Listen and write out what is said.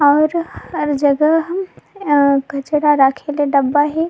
और और जगह ह कचरा रखे ले डब्बा हए।